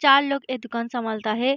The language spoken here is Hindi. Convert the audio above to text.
चार लोग ए दुकान संभालता हे ।